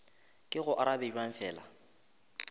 ke go arabe bjang fela